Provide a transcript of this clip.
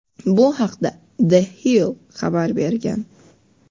Bu haqda "The Hill" xabar bergan.